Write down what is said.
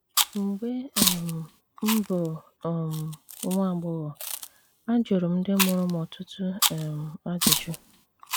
Mgbe um m bụ um nwa agbọghọ, ajụrụ m ndị mụrụ m ọtụtụ um ajụjụ.